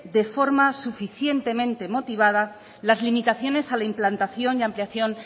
de forma suficientemente motivada las limitaciones a la implantación y ampliación